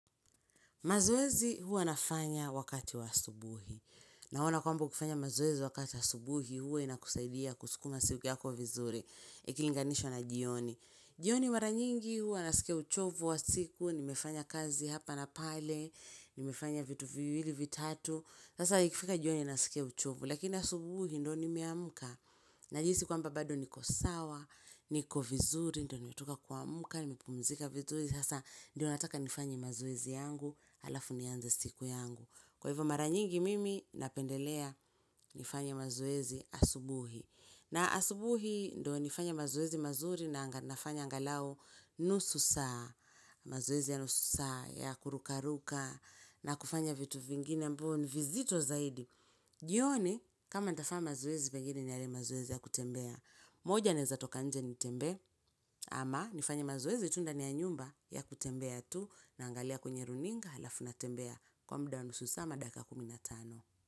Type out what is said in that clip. Mazoezi huwa nafanya wakati wa subuhi. Naona kwamba ukifanya mazoezi wakati wa asubuhi huwa inakusaidia kusukuma siku yako vizuri. Ikilinganishwa na jioni. Jioni mara nyingi hua nasikia uchovu wa siku, nimefanya kazi hapa na pale, nimefanya vitu viwili, vitatu. Sasa ikifika jioni nasikia uchovu, lakini asubuhi ndo nimeamka. Najihisi kwamba bado niko sawa, niko vizuri, ndo nimetoka kuamuka, nimepumzika vizuri. Sasa ndio nataka nifanye mazoezi yangu. Alafu nianze siku yangu. Kwa hivyo mara nyingi mimi napendelea nifanye mazoezi asubuhi. Na asubuhi ndo nifanye mazoezi mazuri na nafanya anghalau nusu saa. Mazeezi ya nusu saa, ya kuruka kuruka, na kufanya vitu vingine ambao, nivizito zaidi. Jioni, kama nitafanya mazoezi, pengine ni yale mazoezi ya kutembea. Moja naeza toka nje nitembee, ama nifanye mazoezi, tu ndani ya nyumba ya kutembea tu, naangalia kwenye runinga alafu natembea kwa mudaa nusu saa ama dakika kumi na tano.